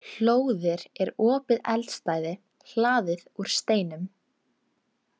Hlóðir er opið eldstæði hlaðið úr steinum.